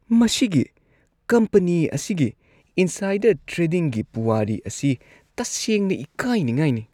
ꯃꯁꯤꯒꯤ ꯀꯝꯄꯅꯤ ꯑꯁꯤꯒꯤ ꯏꯟꯁꯥꯏꯗꯔ ꯇ꯭ꯔꯦꯗꯤꯡꯒꯤ ꯄꯨꯋꯥꯔꯤ ꯑꯁꯤ ꯇꯁꯦꯡꯅ ꯏꯀꯥꯏꯅꯤꯡꯉꯥꯏꯅꯤ꯫